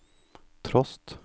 trost